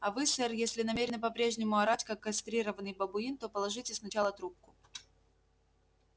а вы сэр если намерены по-прежнему орать как кастрированный бабуин то положите сначала трубку